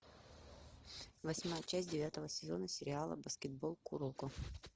восьмая часть девятого сезона сериал баскетбол куроко